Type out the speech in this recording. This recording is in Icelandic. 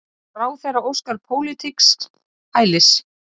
Ráðherra óskar pólitísks hælis